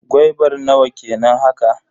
Gwaibar nawa kenan haka?